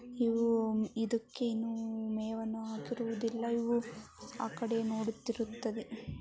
ಇವು ಇದುಕ್ಕೆ ಇನ್ನೂ ಮೇವನ್ನು ಹಾಕಿರುವುದಿಲ್ಲ. ಇವು ಆಕಡೆ ನೋಡುತ್ತಿರುತ್ತದೆ.